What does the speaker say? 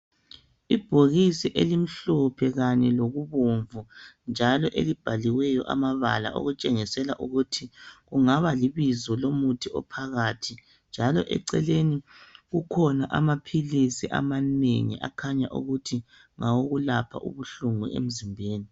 Ibhokisi elimhlophe kanye lokubomvu njalo elibhaliweyo amabala okutshengisela ukuthi kungaba libizo lomuthi ophakathi njalo eceleni kukhona amaphilisi amanengi akhanya ukuthi ngawokulapha ubuhlungu emzimbeni.